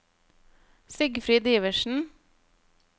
Sigfrid Iversen